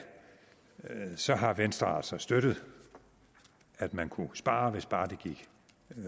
så har venstre altså støttet at man kunne spare hvis bare det gik